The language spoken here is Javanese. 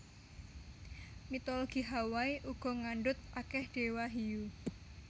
Mitologi Hawaii uga ngandhut akèh déwa hiyu